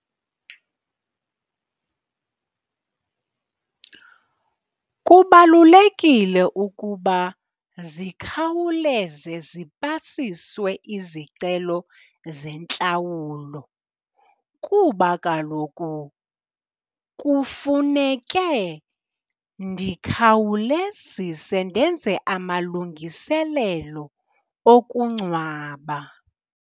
Kubalulekile ukuba zikhawuleze zipasiswe izicelo zentlawulo kuba kaloku kufuneke ndikhawulezise ndenze amalungiselelo okungcwaba.